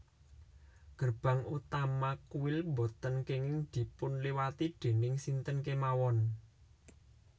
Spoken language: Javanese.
Gerbang utama kuil boten kenging dipunliwati déning sinten kemawon